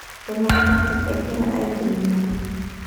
Democratic egira agilunore.